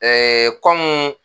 kɔmu